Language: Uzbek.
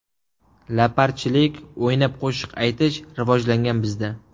Laparchilik, o‘ynab qo‘shiq aytish rivojlangan bizda.